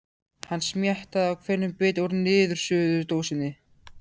Hann smjattaði á hverjum bita úr niðursuðudósinni.